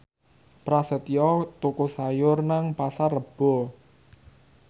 Prasetyo tuku sayur nang Pasar Rebo